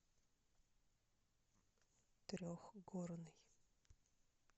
трехгорный